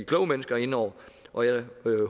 kloge mennesker inde over og jeg